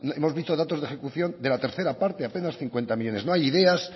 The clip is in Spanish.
hemos visto datos de ejecución de la tercera parte apenas cincuenta millónes no hay ideas